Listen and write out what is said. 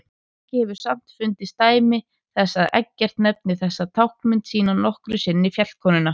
Ekki hefur samt fundist dæmi þess að Eggert nefni þessa táknmynd sína nokkru sinni fjallkonuna.